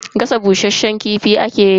Gasa bushasshen kifi ake yi.